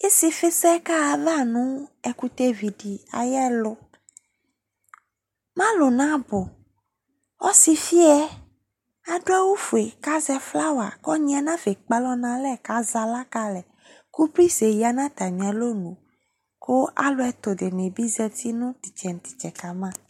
Ɩsɩfɩsɛ kaɣa ayava nʋ ɛkʋtɛvi dɩ ayɛlʋ Alʋ nabʋ Ɔsɩfɩ yɛ adʋ awʋfue kʋ azɛ flawa, ɔnyɩ yɛ nafa ekpe alɔ nʋ alɛ kʋ azɛ aɣla ka alɛ kʋ pris yɛ ya nʋ atamɩ alɔnu kʋ alʋ ɛtʋ dɩnɩ bɩ zati nʋ tʋ ɩtsɛ nʋ tʋ ɩtsɛ ka ma